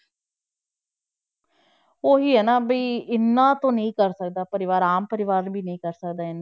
ਉਹੀ ਹੈ ਨਾ ਵੀ ਇੰਨਾ ਤਾਂ ਨੀ ਕਰ ਸਕਦਾ ਪਰਿਵਾਰ ਆਮ ਪਰਿਵਾਰ ਵੀ ਨੀ ਕਰ ਸਕਦਾ ਇੰਨਾ।